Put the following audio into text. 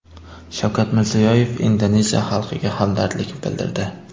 Shavkat Mirziyoyev Indoneziya xalqiga hamdardlik bildirdi.